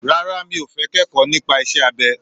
Rárá, mi ò fẹ́ kẹ́kọ̀ọ́ nípa iṣẹ́ abẹ.